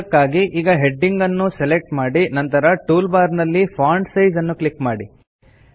ಅದಕ್ಕಾಗಿ ಈಗ ಹೆಡಿಂಗ್ ಅನ್ನು ಸೆಲೆಕ್ಟ್ ಮಾಡಿ ನಂತರ ಟೂಲ್ ಬಾರ್ ನಲ್ಲಿ ಫಾಂಟ್ ಸೈಜ್ ಅನ್ನು ಕ್ಲಿಕ್ ಮಾಡಿ